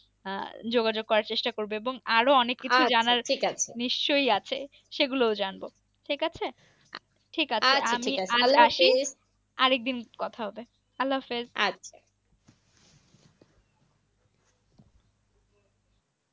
আর যোগাযোগ করার চেষ্টা করবে এবং আরো অনেক কিছু জানার আছে। নিশ্চই আছে সেগুলোও জানবো, ঠিক আছে। ঠিক আছে ঠিক আছে আর আমি থালে আসি আর একদিন কথা হবে। হাল হাফেজ